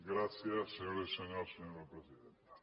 gràcies senyores i senyors senyora presidenta